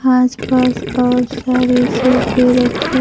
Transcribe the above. आस पास और सारे सोफे रखे--